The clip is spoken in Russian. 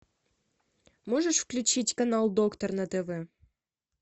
можешь включить канал доктор на тв